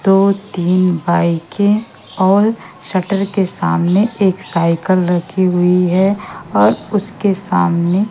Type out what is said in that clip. दो तीन बाईकें और शटर के सामने एक साइकिल रखी हुई है और उसके सामने--